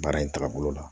Baara in tagabolo la